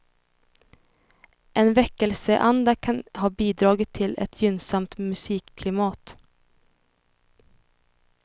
En väckelseanda kan ha bidragit till ett gynnsamt musikklimat.